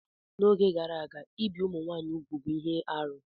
N'oge gara aga, ibi ụmụ nwanyị úgwù bụ ihe arụ.